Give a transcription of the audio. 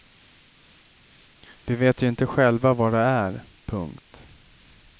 Vi vet ju inte själva vad det är. punkt